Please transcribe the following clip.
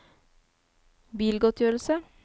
bilgodtgjørelse